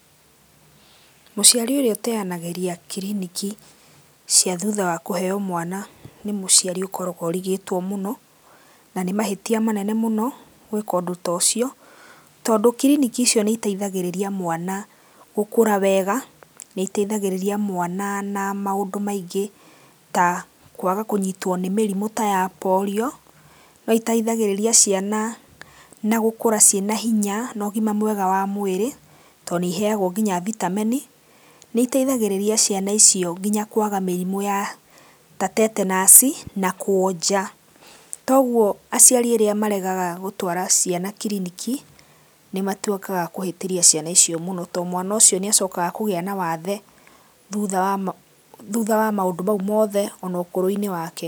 Mũciari ũrĩa ũteanagĩria kiriniki cia thutha wa kũheo mwana, nĩ mũciari ũkoragwo ũrigĩtwo mũno na nĩ mahĩtia manene mũno gwĩka ũndũ ta ũcio tondũ kiriniki icio nĩ iteithagĩrĩria mwana gũkũra wega, nĩ iteithagĩrĩria mwana na maũndũ maingĩ ta kwaga kũnyitwo nĩ mĩrimũ ta ya Polio. Nĩ iteithagĩrĩria ciana na gũkũra cie na hinya na ũgima mwega wa mwĩrĩ tondũ nĩ iheago nginya vitamini. Nĩ iteithagĩrĩria ciana icio nginya kwaga mĩrimũ ta Tetanus na kuonja, koguo aciari arĩa maregaga gũtwara ciana kiriniki nĩ matuĩkaga akũhĩtĩria ciana icio mũno to mwana ũcio nĩ acokaga kũgĩa na wathe thutha wa maũndũ mau mothe ona ũkũrũ-inĩ wake.